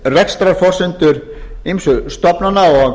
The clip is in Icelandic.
rekstrarforsendur ýmissa stofnana og